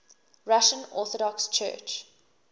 russian orthodox church